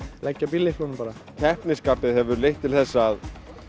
leggja keppnisskapið hefur leitt til þess að